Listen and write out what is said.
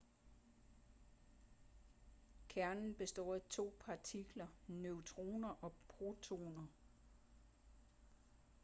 kernen består af to partikler neutroner og protoner